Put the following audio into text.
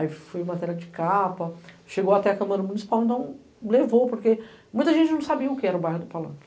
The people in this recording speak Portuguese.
Aí foi matéria de capa, chegou até a Câmara Municipal e levou, porque muita gente não sabia o que era o bairro do Palanque.